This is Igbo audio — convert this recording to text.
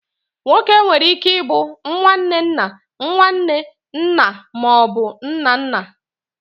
Nwoke nwere ike ịbụ nwanne nna, nwanne, nna ma ọ bụ nna nna.